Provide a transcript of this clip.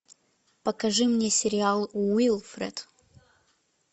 покажи мне сериал уилфред